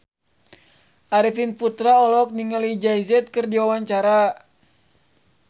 Arifin Putra olohok ningali Jay Z keur diwawancara